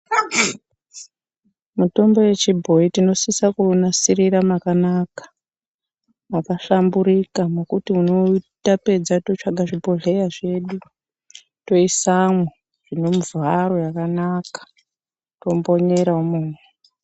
Mitombo yechibhoyi tinosise kuunasirira mwakanaka mwakahlamburika mwekuti tapedza totsvage zvibhodhlera zvedu toisamwo zvine mivharo yakanaka, tombonyera imomo.